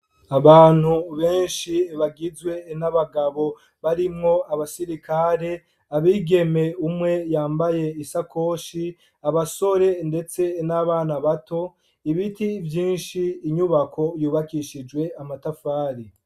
Abantu benshi bagizwe n'abagabo barimwo abasirikare , abigeme umwe yambaye isakoshi, abasore ndetse n'abana bato , ibiti vyinshi , inyubako yubakishijwe amatafari.